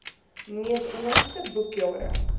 mees onlangse boekjare